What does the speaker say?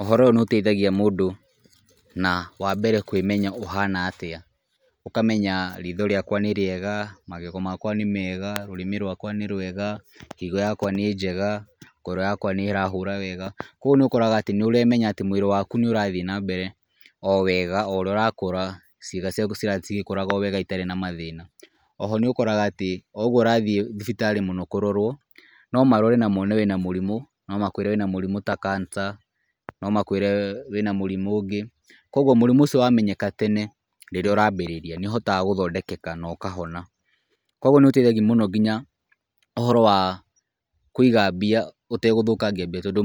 Ũhoro ũyũ nĩ ũteithagia mũndũ na wa mbere kũĩmenya ũhana atĩa, ũkamenya riitho rĩakwa nĩ rĩega, magego makwa nĩ mega, rũrĩmĩ rwakwa nĩ rwega, higo yakwa nĩ njega, ngoro yakwa nĩ ĩrahũra wega, koguo nĩ ũkoraga atĩ nĩ ũremenya atĩ mwĩrĩ waku nĩ ũrathiĩ na mbere o wega o ũrĩa ũrakũra ciĩga ciaku cirathi cigĩkũraga o wega itarĩ na mathĩna. Oho nĩ ũkoraga atĩ o ũguo ũrathiĩ thibitarĩ mũno kũrorwo, no marore na mone wĩna mũrimũ na makwĩre wĩna mũrimũ ta cancer, no makwĩre wĩna mũrimũ ũngĩ. Koguo mũrimũ ũcio wamenyeka tene rĩrĩa ũrambĩrĩria nĩ uhotaga gũthondekeka na ũkahona. Koguo nĩ ũteithagia mũno nginya ũhoro wa kũiga mbia, ũtegũthũkangia mbeca tondũ